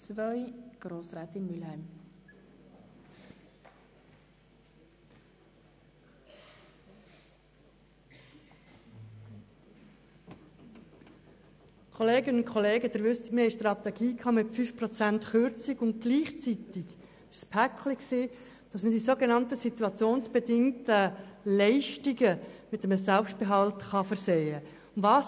II. Wir hatten eine Strategie mit einer Kürzung von 5 Prozent und gleichzeitig das Paket, wonach man die sogenannten situationsbedingten Leistungen mit einem Selbstgehalt versehen kann.